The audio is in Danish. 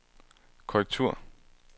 korrektur